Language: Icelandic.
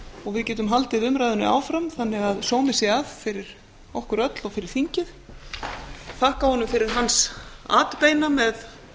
og við getum haldið umræðunni áfram þannig að sómi sé að fyrir okkur öll og fyrir þingið ég þakka honum fyrir hans atbeina með